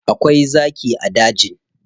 Akwai zaki a dajin.